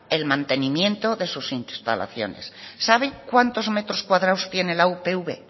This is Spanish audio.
el mantenimiento de sus instalaciones sabe cuántos metros cuadrados tiene la upv